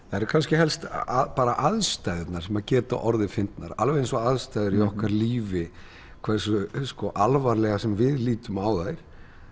það eru kannski helst aðstæðurnar sem geta orðið fyndnar alveg eins og aðstæður í okkar lífi hversu alvarlega sem við lítum á þær